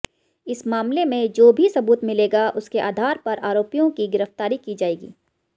इस मामले में जो भी सबूत मिलेगा उसके आधार पर आरोपियों की गिरफ्तारी की जाएगी